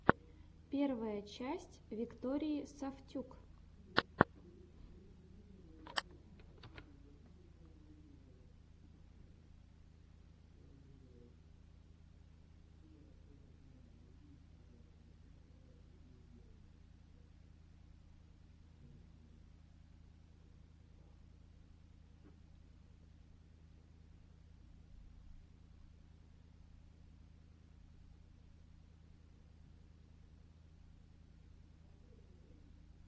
первая часть виктории сафтюк